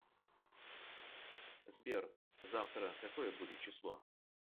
сбер завтра какое будет число